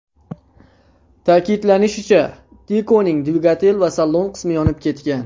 Ta’kidlanishicha, Tico‘ning dvigatel va salon qismi yonib ketgan.